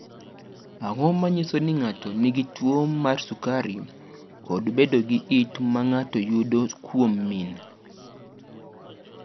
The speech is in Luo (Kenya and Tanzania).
Ang’o ma nyiso ni ng’ato nigi tuwo mar sukari kod bedo gi it ma ng’ato yudo kuom min?